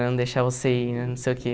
Não deixar você ir né, não sei o quê.